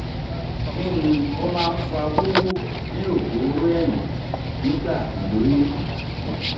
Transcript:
kini o ma n fa wuwu ni ogoro eyin nigba iloyun?